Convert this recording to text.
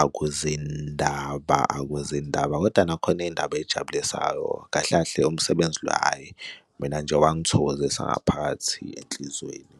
akuzindaba akuzindaba, kodwa nakhona iy'ndaba ey'jabulisayo kahle kahle umsebenzi lo hhayi mina nje wangithokozisa ngaphakathi enhlizweni.